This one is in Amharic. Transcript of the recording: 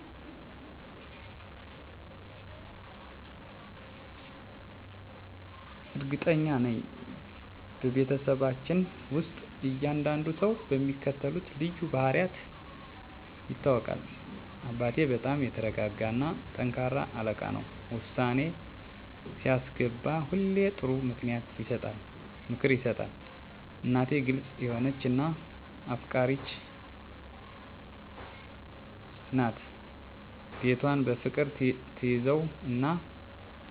እርግጠኛ ነኝ፤ በቤተሰባችን ውስጥ እያንዳንዱ ሰው በሚከተሉት ልዩ ባህሪያት ይታወቃል - አባቴ በጣም የተረጋጋ እና ጠንካራ አለቃ ነው። ውሳኔ ሲያስገባ ሁሌ ጥሩ ምክር ይሰጣል። እናቴ ግልጽ የሆነች እና አፍቃሪች ናት። ቤቷን በፍቅር ትያዘው እና ለሁሉም እርዳታ ትደርሳለች። ትልቁ ወንድሜ ተሳሳቂ እና ቀልደኛ ነው። ማንኛውንም ሁኔታ በቀላሉ በሚስጥር ያቃልለዋል። ትንሽ እህቴ በጣም ፈጣሪ እና አስተያየት የምትሰጥ ናት። ሁል ጊዜ አዲስ ሀሳቦች አሉት። እኔ ደግሞ አዘጋጅ እና ሰላማዊ እንደ መሃከል ይታወቃለሁ። ቤተሰቡን ያስተባብራል እና ሰላም ይፈጥራል። ይህ ልዩነት ቤተሰባችንን የበለጠ ያስተባብራል እና ልዩ ያደርገዋል።